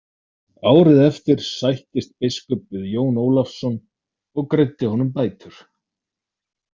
Árið eftir sættist biskup við Jón Ólafsson og greiddi honum bætur.